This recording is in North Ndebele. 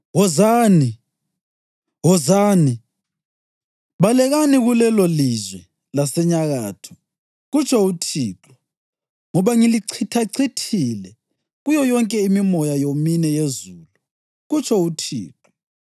Wozani! Wozani! Balekani kulelolizwe lasenyakatho,” kutsho uThixo, “ngoba ngilichithachithile kuyo yonke imimoya yomine yezulu,” kutsho uThixo.